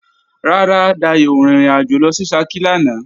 Rárá, Dayò ò rin ìrìnàjò lọ sí Ṣakí lánàá